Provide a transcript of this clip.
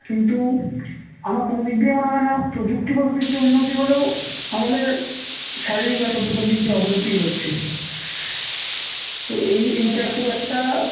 কিন্তু আমার কোন দিক দিয়েই মনে হয় না প্রযুক্তিগত দিক দিয়ে উন্নতি হলেও আমাদের শারীরিক বা সদ্য পাতিক যে অবনতি হচ্ছে তো এই এইটা খুব একটা